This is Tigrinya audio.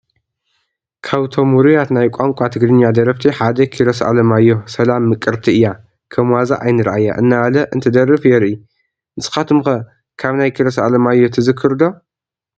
ካብቶም ውሩያት ናይ ቋንቋ ትግርኛ ደረፍቲ ሓደ ኪሮስ ኣለማዮህ ፡ "ሰላም ምቅርቲ እያ ከም ዋዛ ኣይንርኣያ" እናበለ እንትደርፍ የርኢ፡፡ ንስኻትኩም ከ ካብ ናይ ኪሮስ ኣለማዮህ ትክሩ ዶ?